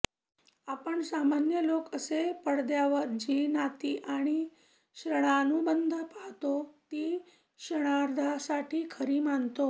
आपण सामान्य लोक कसे पडद्यावर जी नाती आणि श्रणानुबंध पाहोत ती क्षणार्धासाठी खरी मानतो